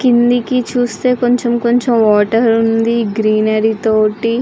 క్రిందికీ చూస్తే కొంచెం కొంచెం వాటర్ వుంది. గ్రీనరీ తోటి --